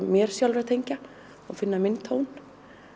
mér sjálfri að tengja og finna minn tón